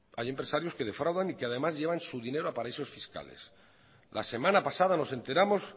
hay empresarios que defraudan y que además llevan su dinero a paraísos fiscales la semana pasada nos enteramos